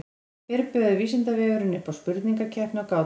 Sem fyrr bauð Vísindavefurinn upp á spurningakeppni og gátur.